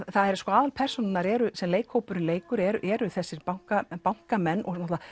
aðalpersónurnar sem leikhópurinn leikur eru þessir bankamenn bankamenn